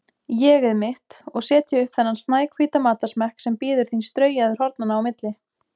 ÉG-ið mitt, og setja upp þennan snæhvíta matarsmekk sem bíður þín straujaður hornanna á milli.